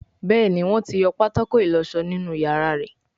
Béèni Wón tí yọ pátákó ìlósó nínú iyàrá rẹ.